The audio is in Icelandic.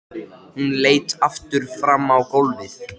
Flestir gangar hér á landi eru fornar gos- eða eldrásir.